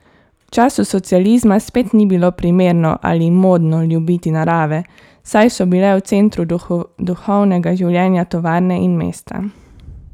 V času socializma spet ni bilo primerno ali modno ljubiti narave, saj so bile v centru duhovnega življenja tovarne in mesta.